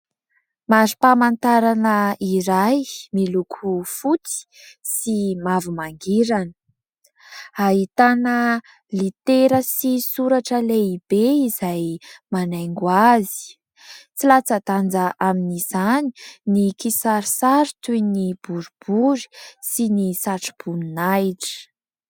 Mari-pamantarana iray miloko fotsy sy mavo mangirana, ahitana litera sy soratra lehibe izay manaingo azy. Tsy latsa-danja amin'izany ny kisarisary toy ny boribory sy ny satro-boninahitra.